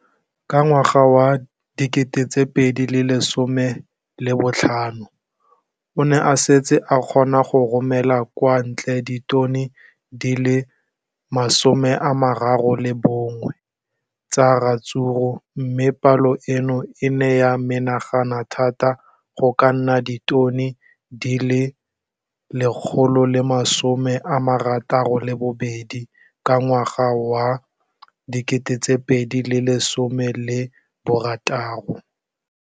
Ka ngwaga wa 2015, o ne a setse a kgona go romela kwa ntle ditone di le 31 tsa ratsuru mme palo eno e ne ya menagana thata go ka nna ditone di le 168 ka ngwaga wa 2016.